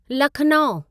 Lucknow